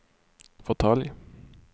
fåtölj